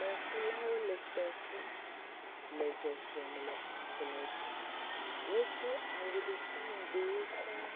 Kpekulawo le kpe kum le zɔzɔm le ablɔdzi, wodo awu ɖeka ŋugbeewo sɔŋ